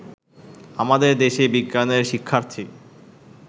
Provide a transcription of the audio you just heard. আমাদের দেশে বিজ্ঞানের শিক্ষার্থী